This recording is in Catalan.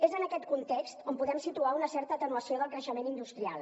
és en aquest context on podem situar una certa atenuació del creixement industrial